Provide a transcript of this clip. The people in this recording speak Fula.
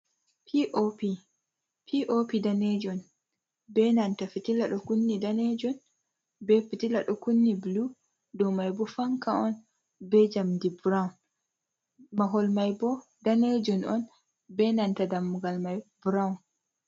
Pop daneejum, be nanta fitila ɗo kunni daneejum, be fitila ɗo kunni bulu. Dow may bo fanka’on be njamndi burawun. Mahol may bo daneejum on, be nanta dammugal may burawun.